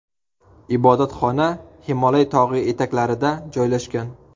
Ibodatxona Himolay tog‘i etaklarida joylashgan.